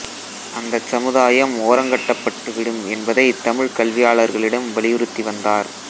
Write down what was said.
அந்தச் சமுதாயம் ஓரங்கட்டப்பட்டு விடும் என்பதைத் தமிழ்க் கல்வியாளர்களிடம் வலியுறுத்தி வந்தார்